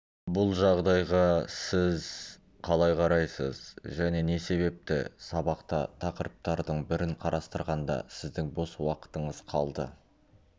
бұл жағдайға сіз қалай қарайсыз және не себепті сабақта тақырыптардың бірін қарастырғанда сіздің бос уақытыңыз қалды